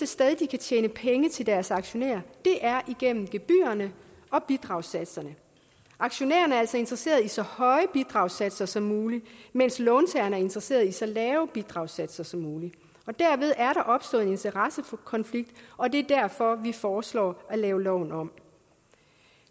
sted de kan tjene penge til deres aktionærer igennem gebyrerne og bidragssatserne aktionærerne er altså interesseret i så høje bidragssatser som muligt men låntagerne er interesseret i så lave bidragssatser som muligt derved er der opstået en interessekonflikt og det er derfor at vi foreslår at lave loven om